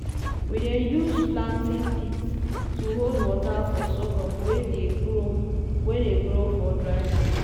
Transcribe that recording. we dey use planting pit to hold water for sorghum wey dey grow wey dey grow for dry land.